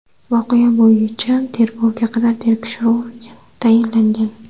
Voqea bo‘yicha tergovga qadar tekshiruv tayinlangan.